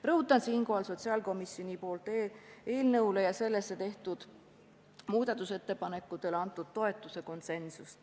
Rõhutan siinkohal sotsiaalkomisjoni konsensust eelnõu ja sellesse tehtud muudatusettepanekute toetamisel.